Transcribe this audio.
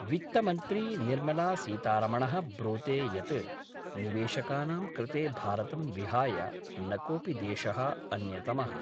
वित्तमंत्री निर्मला सीतारमणः ब्रूते यत् निवेशकानां कृते भारतं विहाय न कोऽपि देशः अन्यतमः।